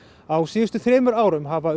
á síðustu þremur árum hafa